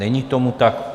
Není tomu tak.